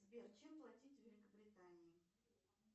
сбер чем платить в великобритании